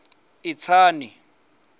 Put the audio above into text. itsani